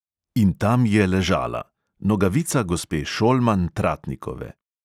In tam je ležala: nogavica gospe šolman-tratnikove.